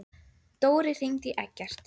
Dóri, hringdu í Eggert.